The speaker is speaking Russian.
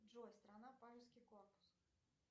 джой страна палевский корпус